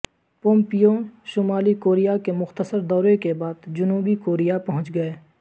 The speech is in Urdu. پومپیو شمالی کوریا کے مختصر دورے کے بعد جنوبی کوریا پہچ گئے